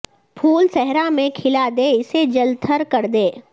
پھول صحرا میں کھلا دے اسے جل تھل کردے